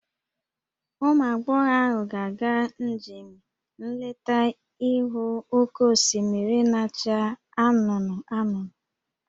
Ụmụ agbọghọ ahụ ga-aga njem nleta ịhụ oke osimiri na-acha anụnụ anụnụ